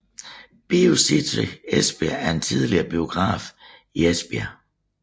BioCity Esbjerg er en tidligere biograf i Esbjerg